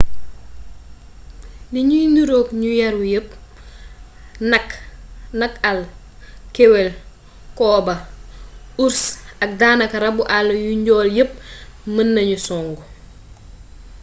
li nuy niroog ñu yaru yepp nag àll kewël kooba urs ak daanaka rabu àll yu njool yepp mën nan songu